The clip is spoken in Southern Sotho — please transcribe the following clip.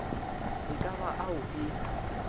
e ka ba ao e